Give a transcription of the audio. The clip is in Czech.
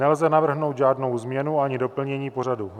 Nelze navrhnout žádnou změnu ani doplnění pořadu.